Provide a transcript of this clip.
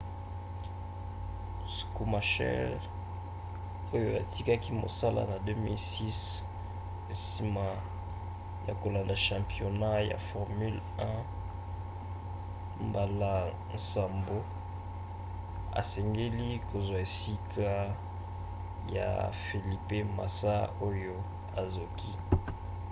schumacher oyo atikaki mosala na 2006 nsima ya kolanda championnat ya formule 1 mbala nsambo asengeli kozwa esika ya felipe massa oyo azoki